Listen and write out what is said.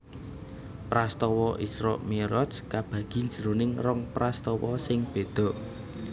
Prastawa Isra Mi raj kabagi jroning rong prastawa sing béda